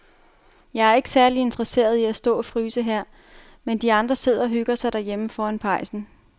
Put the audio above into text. Jeg er ikke særlig interesseret i at stå og fryse her, mens de andre sidder og hygger sig derhjemme foran pejsen.